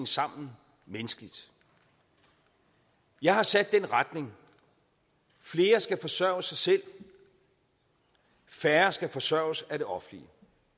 sammen menneskeligt jeg har sat den retning flere skal forsørge sig selv færre skal forsørges af det offentlige